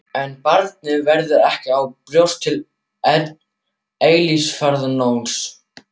En barnið verður ekki á brjósti til eilífðarnóns.